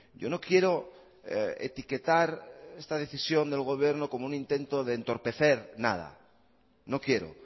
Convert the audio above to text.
yo no quiero etiquetar esta decisión del gobierno como un intento de entorpecer nada no quiero